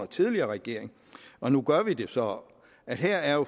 tidligere regering og nu gør vi det så her er jo